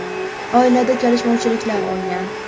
Oilada kelishmovchiliklar bo‘lgan.